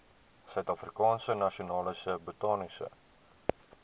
suidafrikaanse nasionale botaniese